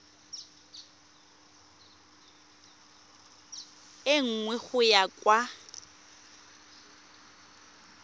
e nngwe go ya kwa